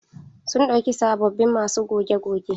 Sun ɗauki sabobbin masu goge goge.